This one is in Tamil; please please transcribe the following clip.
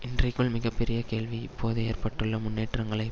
இன்றைக்குள்ள மிக பெரிய கேள்வி இப்போது ஏற்பட்டுள்ள முன்னேற்றங்களை